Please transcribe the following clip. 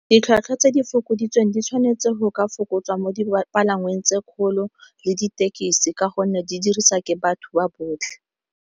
Ditlhwatlhwa tse di fokoditsweng di tshwanetse go ka fokotswa mo dipalangweng tse kgolo le ditekisi ka gonne di dirisa ke batho ba botlhe.